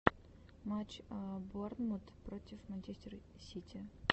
матч борнмут против манчестер сити